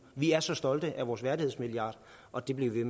vi er så stolte af vores værdighedsmilliard og det bliver vi